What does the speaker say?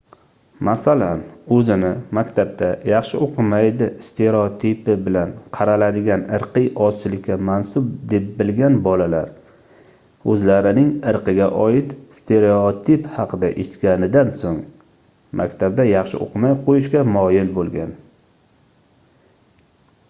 masalan oʻzini maktabda yaxshi oʻqimaydi stereotipi bilan qaraladigan irqiy ozchilikka mansub deb bilgan bolalar oʻzlarining irqiga oid stereotip haqida eshitganidan soʻng maktabda yaxshi oʻqimay qoʻyishga moyil boʻlgan